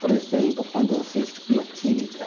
Por exemplo, quando eu fiz bioquímica.